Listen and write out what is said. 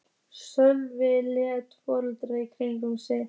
Sölvi leit forvitinn í kringum sig.